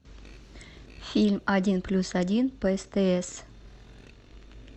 фильм один плюс один по стс